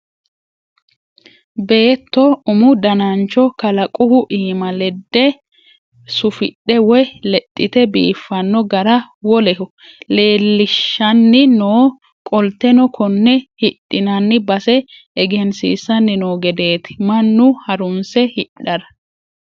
Beetto umu danancho kalaquhu iima lede sufidhe woyi lexite biifano gara woleho leelishanni no qolteno kone hidhinanni base egensiisani no gedeti mannu harunse hidhara.